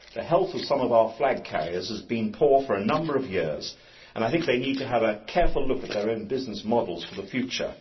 The health of some of our flag carriers has been poor for a number of years, and they need to have a careful look at their own business models for the future.